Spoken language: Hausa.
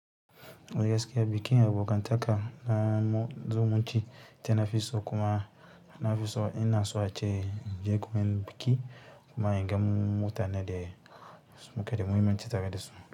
Eh gaskiya bikin abokantaka na zumunci ita nafi so kuma nafiso inaso ace inje gurin biki amma inga mutane da muke da moment tare dasu.